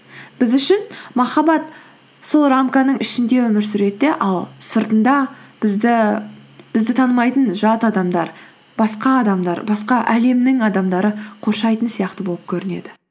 біз үшін махаббат сол рамканың ішінде өмір сүреді де ал сыртында бізді танымайтын жат адамдар басқа адамдар басқа әлемнің адамдары қоршайтын сияқты болып көрінеді